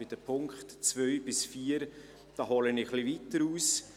Bei den Punkten 2 bis 4 hole ich etwas weiter aus.